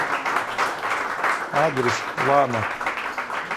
адрес лана